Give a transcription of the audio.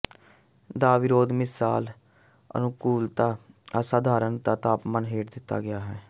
ਦਾ ਵਿਰੋਧ ਮਿਸਾਲ ਅਨੁਕੂਲਤਾ ਅਸਾਧਾਰਣ ਦਾ ਤਾਪਮਾਨ ਹੇਠ ਦਿੱਤਾ ਗਿਆ ਹੈ